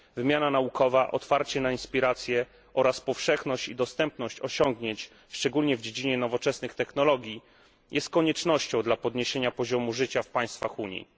Wymiana naukowa, otwarcie na inspiracje oraz powszechność i dostępność osiągnięć, szczególnie w dziedzinie nowoczesnych technologii, jest koniecznością dla podniesienia poziomu życia w państwach Unii.